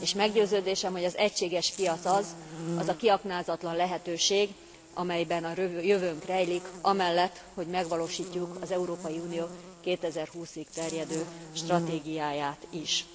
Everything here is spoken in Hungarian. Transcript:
És meggyőződésem, hogy az egységes piac az az a kiaknázatlan lehetőség, amelyben a jövőnk rejlik amellett, hogy megvalósítjuk az Európai Unió 2020 ig terjedő stratégiáját is.